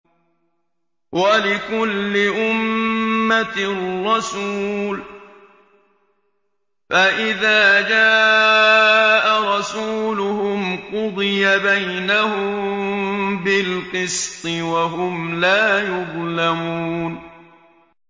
وَلِكُلِّ أُمَّةٍ رَّسُولٌ ۖ فَإِذَا جَاءَ رَسُولُهُمْ قُضِيَ بَيْنَهُم بِالْقِسْطِ وَهُمْ لَا يُظْلَمُونَ